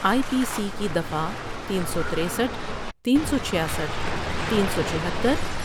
آئی P C کی دفعہ تین سو ترسٹھ، تین سو چھیاسٹھ تین سو چھہتر